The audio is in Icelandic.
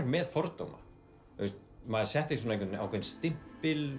með fordóma maður setti á stimpil